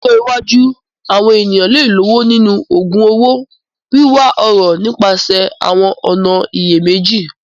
Ní ọjọ́ iwájú, àwọn ènìyàn lè lọ́wọ́ nínú ògun un owó, wíwá ọrọ̀ nípasẹ̀ àwọn ọ̀nà ìyèméjì.